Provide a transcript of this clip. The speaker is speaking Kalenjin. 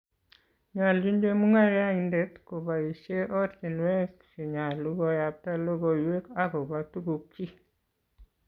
Nyoljin chemungaraindet kobaishe ortinwek chenyolu koyabta logoiwek akobo tugukchi